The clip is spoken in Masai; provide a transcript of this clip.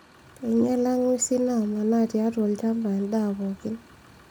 Einyala ng'wesi naamanaa tiatu olchampa endaa pookin